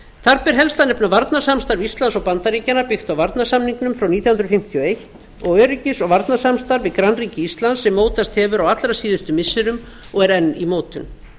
þar ber helst að nefna varnarsamstarf íslands og bandaríkjanna byggt á varnarsamningnum frá nítján hundruð fimmtíu og eins og öryggis og varnarsamstarfi við grannríki íslands sem mótast hefur á allra síðustu missirum og er enn í mótun